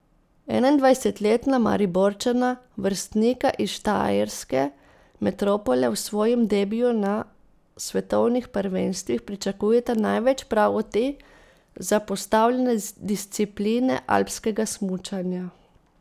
Enaindvajsetletna Mariborčana, vrstnika iz štajerske metropole, v svojem debiju na svetovnih prvenstvih pričakujeta največ prav od te, zapostavljene discipline alpskega smučanja.